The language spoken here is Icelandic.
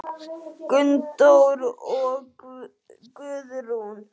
Gunndór og Guðrún.